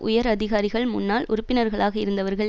உயர் அதிகாரிகள் முன்னாள் உறுப்பினர்களாக இருந்தவர்கள்